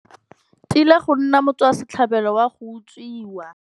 Tila go nna motswasetlhabelo wa go utswiwa.